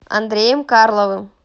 андреем карловым